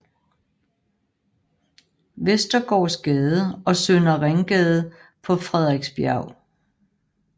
Vestergaards Gade og Søndre Ringgade på Frederiksbjerg